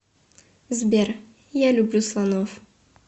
сбер я люблю слонов